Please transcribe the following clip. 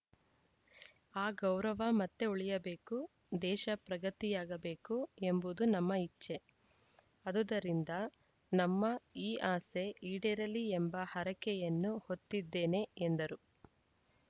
ಆ ಗೌರವ ಮತ್ತೆ ಉಳಿಯಬೇಕು ದೇಶ ಪ್ರಗತಿಯಾಗಬೇಕು ಎಂಬುದು ನಮ್ಮ ಇಚ್ಛೆ ಅದುದರಿಂದ ನಮ್ಮ ಈ ಆಸೆ ಈಡೇರಲಿ ಎಂಬ ಹರಕೆಯನ್ನು ಹೊತ್ತಿದ್ದೇನೆ ಎಂದರು